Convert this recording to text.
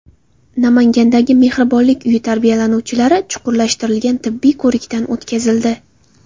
Namangandagi mehribonlik uyi tarbiyalanuvchilari chuqurlashtirilgan tibbiy ko‘rikdan o‘tkazildi.